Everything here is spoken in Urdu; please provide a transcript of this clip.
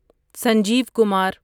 سنجیو کمار